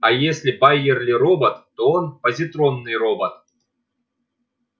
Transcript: а если байерли робот то он позитронный робот